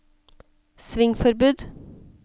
svingforbud